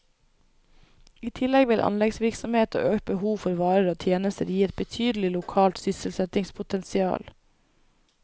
I tillegg vil anleggsvirksomhet og økt behov for varer og tjenester gi et betydelig lokalt sysselsettingspotensial.